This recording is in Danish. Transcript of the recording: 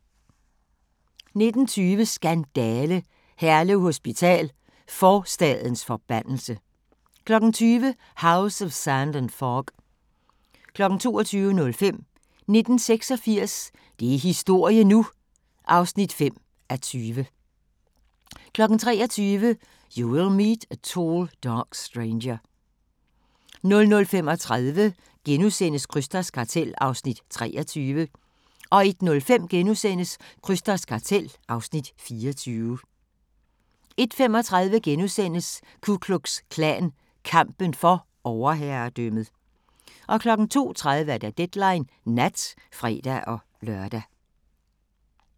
19:20: Skandale! - Herlev Hospital: forstadens forbandelse 20:00: House of Sand and Fog 22:05: 1986 – det er historie nu! (5:20) 23:00: You Will Meet a Tall Dark Stranger 00:35: Krysters Kartel (Afs. 23)* 01:05: Krysters Kartel (Afs. 24)* 01:35: Ku Klux Klan – kampen for overherredømmet * 02:30: Deadline Nat (fre-lør)